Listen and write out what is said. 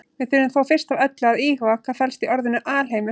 Við þurfum þó fyrst af öllu að íhuga hvað felst í orðinu alheimur.